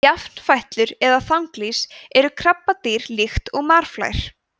jafnfætlur eða þanglýs eru krabbadýr líkt og marflær